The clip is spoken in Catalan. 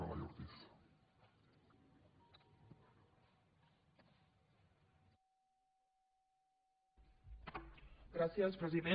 gràcies president